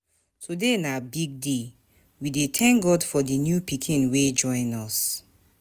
Today na big day, we dey thank God for the new pikin wey join us.